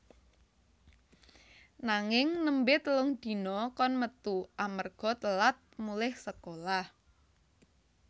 Nanging nembe telung dina kon metu amarga telat mulih sekolah